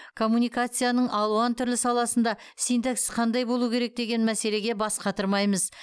коммуницияның алуан түрлі саласында синтаксис қандай болу керек деген мәселеге бас қатырмаймыз